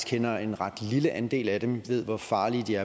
kender en ret lille andel af dem ved hvor farlige de